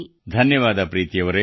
ಧನ್ಯವಾದ ಪ್ರೀತಿ ಅವರೇ